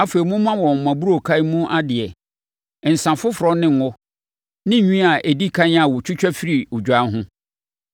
Afei, momma wɔn mo aburookan mu adeɛ, nsã foforɔ ne ngo ne nwi a ɛdi ɛkan a wɔtwitwa firi odwan ho.